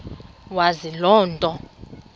wazi loo nto